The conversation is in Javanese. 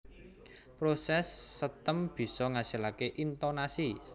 Proses setem bisa ngasilake intonasi